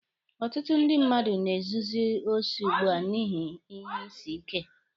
Ọtụtụ ndị mmadụ na-ezuzi osi ugbua n'ihi ihe isi ike.